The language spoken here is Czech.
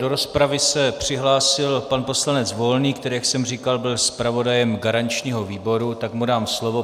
Do rozpravy se přihlásil pan poslanec Volný, který, jak jsem říkal, byl zpravodajem garančního výboru, tak mu dám slovo.